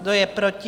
Kdo je proti?